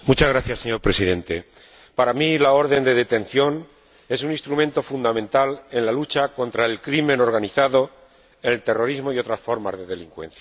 Señor Presidente, para mí la orden de detención es un instrumento fundamental en la lucha contra el crimen organizado, el terrorismo y otras formas de delincuencia.